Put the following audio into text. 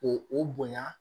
O o bonya